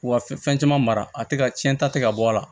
U ka fɛn caman mara a tɛ ka cɛnta tɛ ka bɔ a la